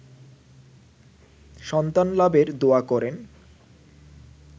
সন্তান লাভের দোয়া করেন